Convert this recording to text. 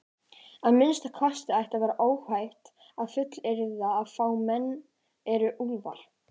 Að minnsta kosti ætti að vera óhætt að fullyrða að fáir menn eru úlfar.